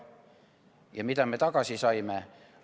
Ja mida me tagasi saime?